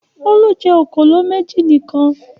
Olú jẹ òkòló méjì nìkan.